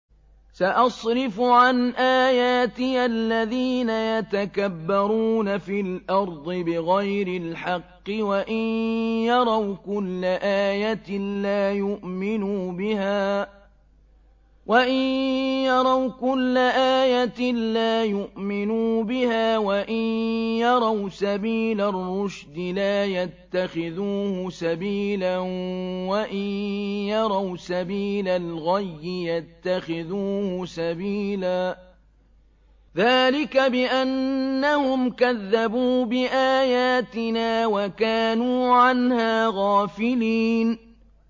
سَأَصْرِفُ عَنْ آيَاتِيَ الَّذِينَ يَتَكَبَّرُونَ فِي الْأَرْضِ بِغَيْرِ الْحَقِّ وَإِن يَرَوْا كُلَّ آيَةٍ لَّا يُؤْمِنُوا بِهَا وَإِن يَرَوْا سَبِيلَ الرُّشْدِ لَا يَتَّخِذُوهُ سَبِيلًا وَإِن يَرَوْا سَبِيلَ الْغَيِّ يَتَّخِذُوهُ سَبِيلًا ۚ ذَٰلِكَ بِأَنَّهُمْ كَذَّبُوا بِآيَاتِنَا وَكَانُوا عَنْهَا غَافِلِينَ